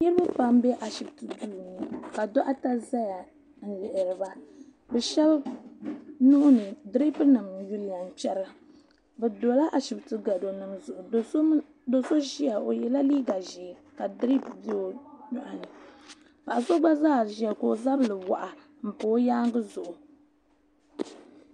niraba pam n bɛ ashibiti ŋɔ puuni ŋɔ ka doɣatɛ ʒɛya n lihiriba bi shab nuuni tiripu nim n yiliya n kpɛra bi dola ashibiti gɛro nim zuɣu do so ʒiya o yɛla liiga ʒiɛ ka tirip bɛ o nyoɣani paɣa so gba zaa ʒiya ka o zabiri waɣa n pa o nyaangi zuɣu